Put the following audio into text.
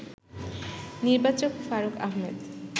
নির্বাচক ফারুক আহমেদ